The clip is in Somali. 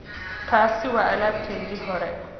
Taasi waa alaabtaydii hore